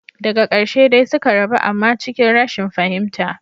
Daga karshe dai suka rabu amma cikin rashin fahimta.